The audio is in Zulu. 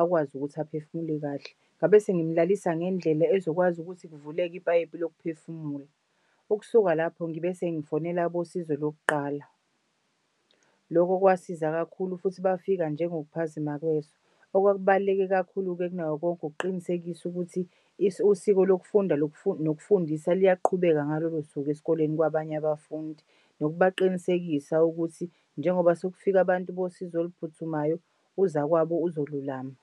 akwazi ukuthi aphefumule kahle. Ngabe sengimulalisa ngendlela ezokwazi ukuthi kuvuleke ipayipi lokuphefumula. Ukusuka lapho ngibese ngifonela abosizo lokuqala. Loko kwasiza kakhulu futhi bafika nje ngokuphazima kweso. Okwakubaluleke kakhulu kunakho konke ukuqinisekisa ukuthi usiko lokufunda nokufundisa luyaqhubeka ngalolo suku esikoleni kwabany'abafundi nokubaqinisekisa ukuthi njengoba sekufika abantu bosizo oluphuthumayo uzakwabo uzolulama.